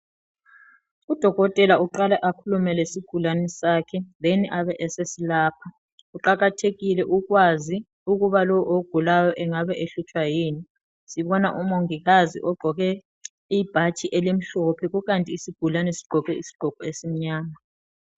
Udokotela uqala akhulume lesigulane sakhe "then" abasesilapha kuqakathekile ukwazi ukuthi lo ogulayo engabe ehlutshwa yini sibona umongikazi ogqoke ibhatshi elimhlophe kukanti isigulane sigqoke isigqoko esimnyama.